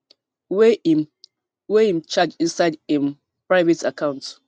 wey im wey im charge inside um im private account